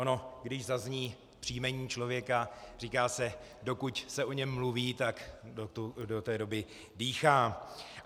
Ono když zazní příjmení člověka - říká se: dokud se o něm mluví, tak do té doby dýchá.